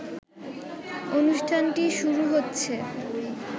অনুষ্ঠানটি শুরু হচ্ছে